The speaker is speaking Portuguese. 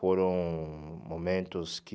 Foram momentos que...